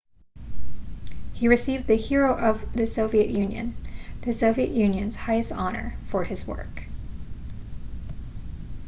he received the hero of the soviet union the soviet union's highest honor for his work